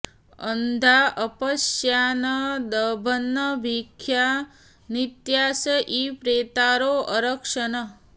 अ॒न्धा अ॑प॒श्या न द॑भन्नभि॒ख्या नित्या॑स ईं प्रे॒तारो॑ अरक्षन्